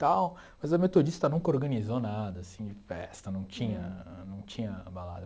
tal mas a Metodista nunca organizou nada assim de festa, não tinha não tinha balada.